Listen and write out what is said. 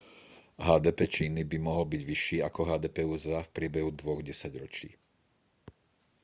hdp číny by mohol byť vyšší ako hdp usa v priebehu dvoch desaťročí